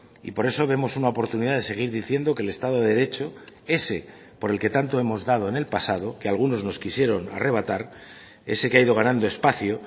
y por eso vemos una oportunidad de seguir diciendo que el estado de derecho ese por el que tanto hemos dado en el pasado que a algunos nos quisieron arrebatar ese que ha ido ganando espacio